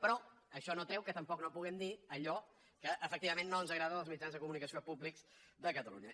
però això no treu que tampoc no puguem dir allò que efectivament no ens agrada dels mitjans de comunicació públics de catalunya